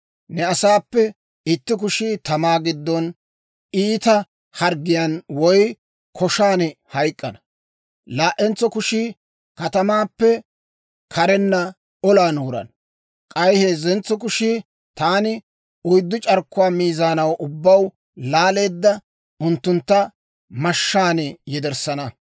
Ne asaappe itti kushii katamaa giddon iita harggiyaan woy koshan hayk'k'ana; laa"entso kushii katamaappe karenna olan wurana; k'ay heezzentso kushiyaa taani oyddu c'arkkuwaa miizaanaw ubbaw laalaade, unttuntta mashshaan yederssana.